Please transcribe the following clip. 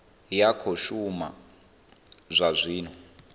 ya khou shuma zwa zwino